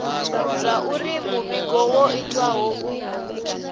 zwauri muvhigo wo itiwa hu